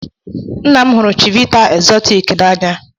Nna m hụrụ chivita exortic n'anya.